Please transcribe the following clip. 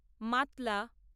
Matla.